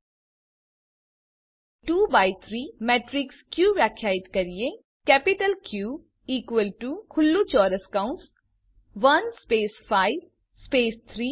ચાલો હવે 2 by 3 matrix ક વ્યાખ્યાયિત કરીએ કેપિટલ ક ઇકવલ ટુ ખુલ્લું ચોરસ કૌંસ 1 સ્પેસ 5 સ્પેસ 3